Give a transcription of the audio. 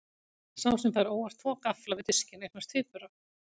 Sá sem fær óvart tvo gaffla við diskinn eignast tvíbura.